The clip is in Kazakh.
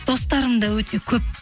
достарым да өте көп